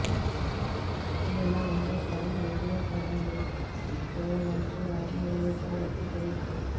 ఇదిలా ఉంటే చరణ్ వీడియో కూడా లీక్ చేయాలంటూ రాజమౌళిపై ఒత్తిడి పెరుగుతోంది